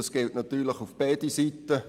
Das gilt natürlich für beide Seiten.